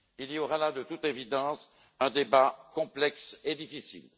Il y aura là, de toute évidence, un débat complexe et difficile.